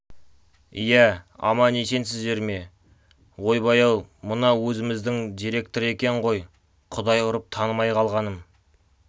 иә аман-есенсіздер ме ойбай-ау мынау өзіміздің деректр екен ғой құдай ұрып танымай қалғаным